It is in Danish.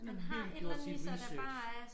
Han har virkelig gjort sit research